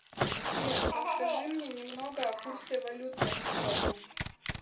сбер расскажи мне немного о курсе валют на сегодня